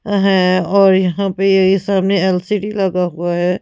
है और यहां पे ये सामने एल_सी_डी लगा हुआ है--